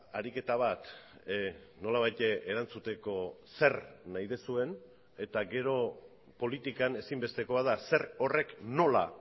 ariketa bat nolabait erantzuteko zer nahi duzuen eta gero politikan ezinbestekoa da zer horrek nola